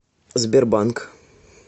сбербанк